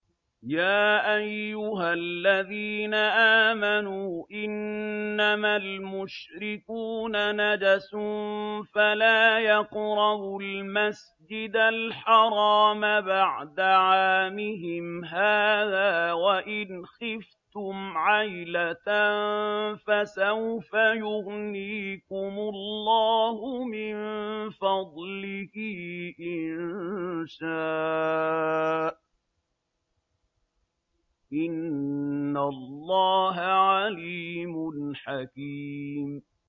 يَا أَيُّهَا الَّذِينَ آمَنُوا إِنَّمَا الْمُشْرِكُونَ نَجَسٌ فَلَا يَقْرَبُوا الْمَسْجِدَ الْحَرَامَ بَعْدَ عَامِهِمْ هَٰذَا ۚ وَإِنْ خِفْتُمْ عَيْلَةً فَسَوْفَ يُغْنِيكُمُ اللَّهُ مِن فَضْلِهِ إِن شَاءَ ۚ إِنَّ اللَّهَ عَلِيمٌ حَكِيمٌ